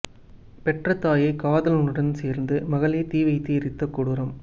பெற்ற தாயை காதலனுடன் சேர்ந்து மகளே தீ வைத்து எரித்த கொடூரம்